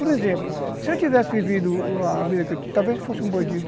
Por exemplo, se eu tivesse vivido a vida aqui, talvez eu fosse um bandido.